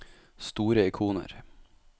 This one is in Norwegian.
store ikoner